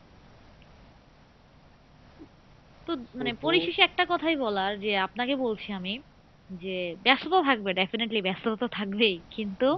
তো পরিশেষে একটা কথাই বলার যে আপনাকে বলছি আমি যে ব্যস্ত তো থাকবে definitely ব্যস্ততা তো থাকবেই কিন্তু